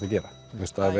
að gera